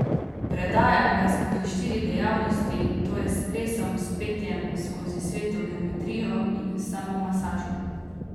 Predajam ga skozi štiri dejavnosti, to je s plesom, s petjem, skozi sveto geometrijo in samomasažo.